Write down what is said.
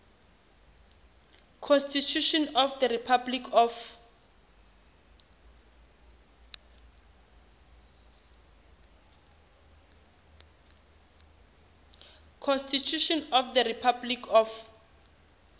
constitution of the republic of